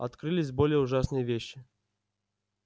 открылись более ужасные вещи